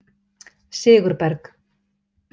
Sigurberg